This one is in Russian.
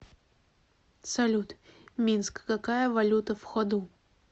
салют минск какая валюта в ходу